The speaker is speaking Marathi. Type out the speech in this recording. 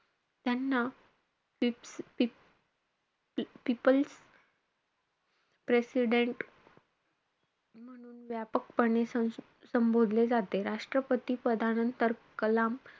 त्यांना पी~ पी~ peoples president म्हणून व्यापकपणे संबोधले जाते. राष्ट्रपती पदानंतर कलाम,